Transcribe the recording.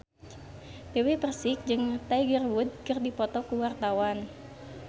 Dewi Persik jeung Tiger Wood keur dipoto ku wartawan